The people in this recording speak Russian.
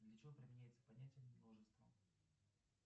для чего применяется понятие множество